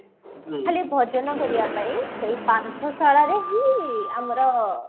ଖାଲି ଭଜନ କରିବା ପାଇଁ ସେଇ ପାନ୍ଥଶାଳାରେ ହିଁ ଆମର